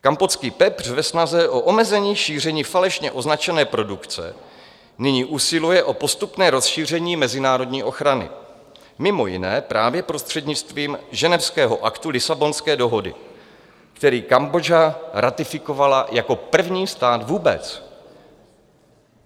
Kampotský pepř ve snaze o omezení šíření falešně označené produkce nyní usiluje o postupné rozšíření mezinárodní ochrany, mimo jiné právě prostřednictvím Ženevského aktu Lisabonské dohody, který Kambodža ratifikovala jako první stát vůbec.